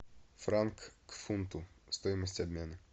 франк к фунту стоимость обмена